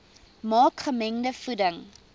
maak gemengde voeding